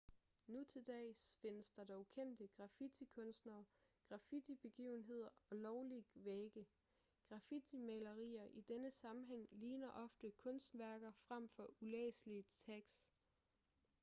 nu til dags findes der dog kendte graffitikunstnere graffitibegivenheder og lovlige vægge graffitimalerier i denne sammenhæng ligner ofte kunstværker fremfor ulæselige tags